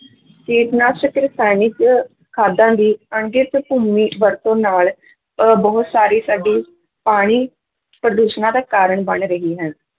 ਕੀਟਨਾਸ਼ਕ ਰਸਾਇਣਿਕ ਖਾਦਾਂ ਦੀ ਭੂਮੀ ਵਰਤੋਂ ਨਾਲ ਅਹ ਬਹੁਤ ਸਾਰੀ ਸਾਡੀ ਪਾਣੀ ਪ੍ਰਦੂਸ਼ਣਾਂ ਦਾ ਕਾਰਨ ਬਣ ਰਹੀ ਹੈ।